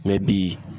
mɛ bi